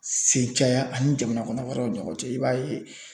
Sen caya ani jamana kɔnɔ wɛrɛw ɲɔgɔn cɛ i b'a ye